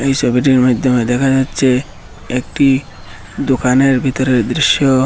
এই ছবিটির মাধ্যমে দেখা যাচ্ছে একটি দোকানের ভেতরের দৃশ্য।